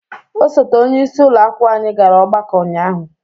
Osote onyeisi ụlọ akwụkwọ anyị gara ọgbakọ ụnyaahụ.